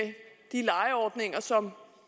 de lejeordninger som